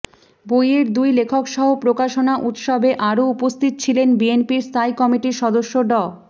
বইয়ের দুই লেখকসহ প্রকাশনা উৎসবে আরো উপস্থিত ছিলেন বিএনপির স্থায়ী কমিটির সদস্য ড